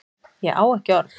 Ég á ekki orð